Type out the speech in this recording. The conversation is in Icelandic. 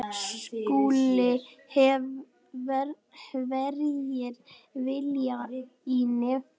SKÚLI: Hverjir vilja í nefið.